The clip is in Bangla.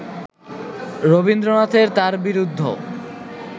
রবীন্দ্রনাথের তাঁর বিরুদ্ধ